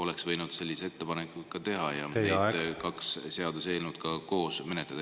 … oleksite võinud ikkagi sellise ettepaneku teha ja me oleksime saanud kahte seaduseelnõu koos menetleda.